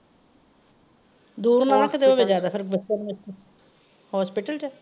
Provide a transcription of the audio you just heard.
ਦੂਰ ਨਾ ਕਿਤੇ ਹੋਵੇ ਜਿਆਦਾ ਫੇਰ ਬੱਸਾਂ . hospital ਚ ਆ?